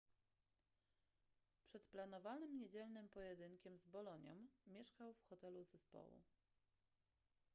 przed planowanym niedzielnym pojedynkiem z bolonią mieszkał w hotelu zespołu